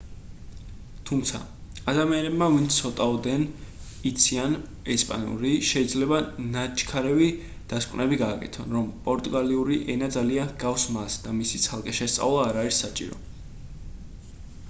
თუმცა ადამიანებმა ვინც ცოტაოდენ იციან ესპანური შეიძლება ნაჩქარევი დასკვნები გააკეთონ რომ პორტუგალიური ენა ძალიან ჰგავს მას და მისი ცალკე შესწავლა არ არის საჭირო